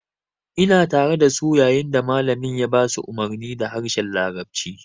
Ina tare dasu yayin da malamin ya ba su umarni da harshen larabci